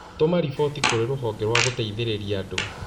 Tũma riboti kũrĩ rũhonge rwa gũteithĩrĩria andũ